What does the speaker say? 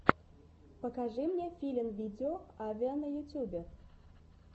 покажи мне филинвидео авиа на ютюбе